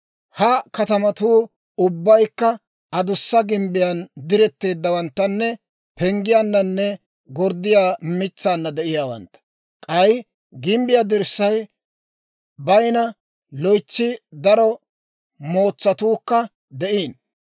Ha katamatuu ubbaykka adussa gimbbiyaan diretteeddawanttanne penggiyaananne gorddiyaa mitsaanna de'iyaawantta. K'ay gimbbiyaa dirssay bayinna loytsi daro mootsatuukka de'iino.